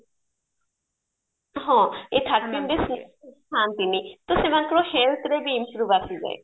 ହଁ ଏଇ thirteen days ଖାଆନ୍ତିନି ତ ସେମାନଙ୍କର healthରେ ବି improve ଆସିଯାଏ